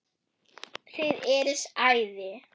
Þið eruð æði.